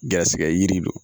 Garisigɛ yiri don